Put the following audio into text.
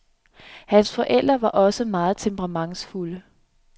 Hans forældre var også meget temperamentsfulde.